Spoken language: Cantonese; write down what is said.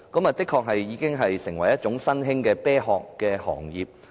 這的確已經成為新興的"啤殼行業"。